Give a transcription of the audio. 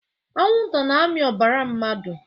Anwụ nta na-amị ọbara mmadụ